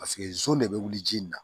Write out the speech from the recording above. Paseke zon de bɛ wuli ji in na